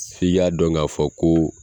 i y'a dɔn ka fɔ ko